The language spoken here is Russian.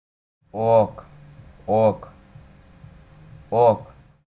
ок ок ок